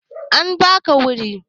An ba ka wuri?